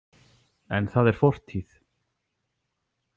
En það er fortíð.